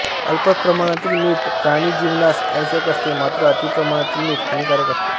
अल्प प्रमाणातील मीठ प्राणिजीवनास आवश्यक असते मात्र अति प्रमाणातील मीठ हानिकारक असते